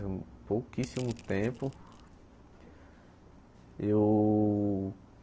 Pouquíssimo tempo. E eu